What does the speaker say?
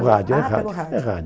rádio, é rádio.